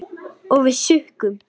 Og við sukkum.